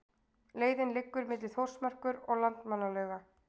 Leiðin liggur milli Þórsmerkur og Landmannalauga.